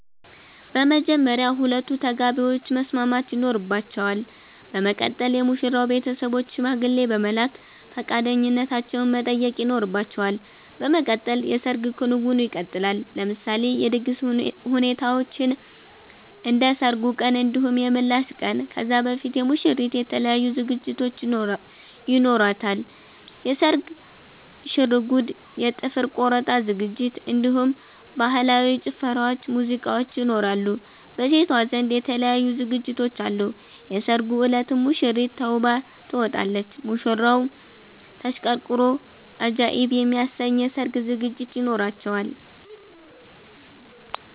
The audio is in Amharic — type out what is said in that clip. በመጀመርያ ሁለቱ ተጋቢዎች መስማማት ይኖርባቸል በመቀጠል የሙሽራዉ ቤተሰቦች ሽማግሌ በመላክ ፈቃደኛነታቸዉን መጠየቅ ይኖርባቸዋል በመቀጠል የሰርግ ክንዉኑ ይቀጥላል። ለምሳሌ የድግስ ሁኔታዎችን እንደ ሰርጉ ቀን እንዲሁም የምላሽ ቀን ከዛ በፊት የሙሽሪት የተለያዩ ዝግጅቶች ይኖሯታል የስርግ ሽርጉድ የ ጥፍር ቆረጣ ዝግጅት እንዲሁም በህላዊ ጭፈራዎች ሙዚቃዎች ይኖራሉ። በሴቷ ዘንድ የተለያዩ ዝግጅቶች አሉ የሰርጉ እለትም ሙሽሪት ተዉባ ትወጣለች። ሙሽራዉም ተሽቀርቅሮ አጃኢብ የሚያሰኝ የሰርግ ዝግጅት ይኖራቸዋል